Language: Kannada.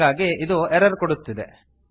ಹಾಗಾಗಿ ಇದು ಎರರ್ ಕೊಡುತ್ತಿದೆ